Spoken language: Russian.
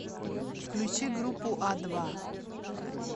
включи группу а два